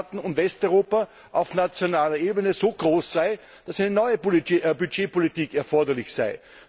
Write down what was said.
Mitgliedstaaten und Westeuropa auf nationaler Ebene so groß sei, dass eine neue Budgetpolitik erforderlich sei.